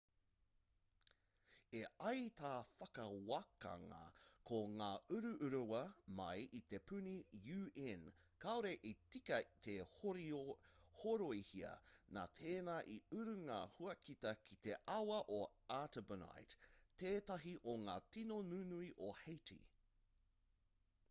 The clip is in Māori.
e ai tā te whakawākanga ko ngā uruurua mai i te puni un kāore i tika te horoihia nā tēnā i uru ngā huakita ki te awa o artibonite tētahi o ngā tīno nunui o haiti